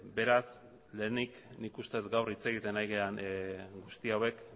beraz lehenik nik uste dut gaur hitz egiten ari garen guzti hauek